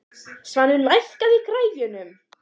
Svanur, lækkaðu í græjunum.